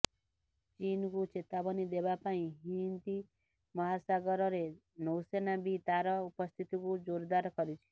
ଚୀନକୁ ଚେତାବନୀ ଦେବା ପାଇଁ ହିନ୍ଦ ମହାସାଗରରେ ନୌସେନା ବି ତାର ଉପସ୍ଥିତିକୁ ଜୋରଦାର କରିଛି